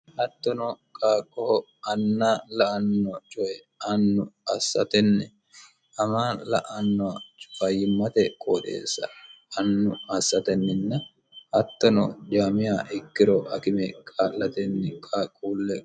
hattono qaaqqoho anna la''anno coye annu assatenni amaa la''anno coy fayyimmate qooxeessa annu assatenninna hattono dhiwamiya ikkiro akime kaa'latenni qaaqquulleho